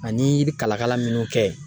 Ani i bi kalakala minnu kɛ